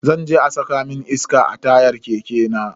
Zan je a saka mun iska a tayan keke na.